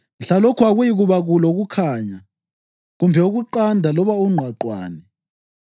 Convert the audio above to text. Mhlalokho akuyikuba lokukhanya, kumbe ukuqanda loba ungqwaqwane.